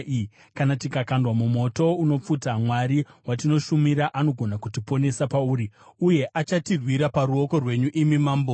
Kana tikakandwa mumoto unopfuta, Mwari watinoshumira anogona kutiponesa pauri, uye achatirwira paruoko rwenyu, imi mambo.